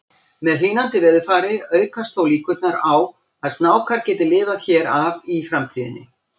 Með hlýnandi veðurfari aukast þó líkurnar á að snákar geti lifað hér af í framtíðinni.